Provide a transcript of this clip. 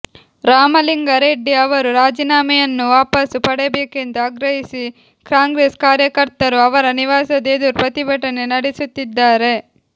ರಾಮಲಿಂಗಾ ರೆಡ್ಡಿ ಅವರು ರಾಜೀನಾಮೆಯನ್ನು ವಾಪಸ್ ಪಡೆಯಬೇಕೆಂದು ಆಗ್ರಹಿಸಿ ಕಾಂಗ್ರೆಸ್ ಕಾರ್ಯಕರ್ತರು ಅವರ ನಿವಾಸದ ಎದುರು ಪ್ರತಿಭಟನೆ ನಡೆಸುತ್ತಿದ್ದಾರೆ